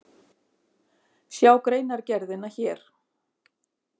Sjá greinargerðina hér